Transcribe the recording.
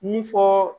Mun fɔɔ